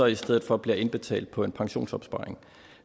i stedet for bliver indbetalt på en pensionsopsparing